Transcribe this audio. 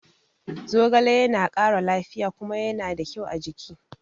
Zogale ya na ƙara lafiya kuma ya na da kyau a jiki